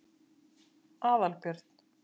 Aðalbjörn